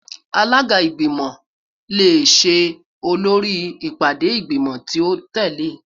Alaga igbimọ le ṣe olori ipade igbimọ ti o tẹle